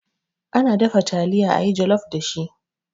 Ana dafa taliya a yi jalof dashi.